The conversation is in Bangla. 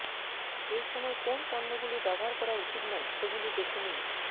এইসময় কোন পণ্যগুলি ব্যবহার করা উচিত নয় সেগুলি দেখে নিন